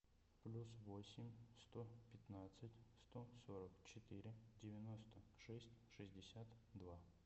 плюс восемь сто пятнадцать сто сорок четыре девяносто шесть шестьдесят два